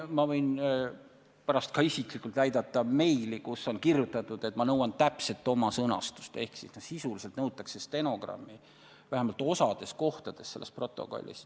Ma võin pärast isiklikult näidata meili, kus on kirjutatud, et nõutakse täpselt oma sõnastust, ehk sisuliselt nõutakse stenogrammi – vähemalt osades kohtades.